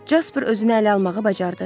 Jaspar özünü ələ almağı bacardı.